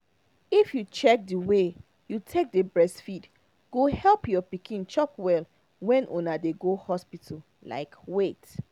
if you change the way you take dey breastfeed go help your pikin chop well when una dey go hospital like wait